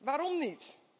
Waarom niet?